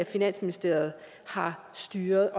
finansministeriet har styret